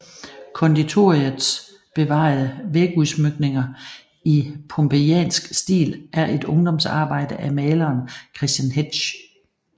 Konditoriets bevarede vægudsmykninger i pompejansk stil er et ungdomsarbejde af maleren Christian Hetsch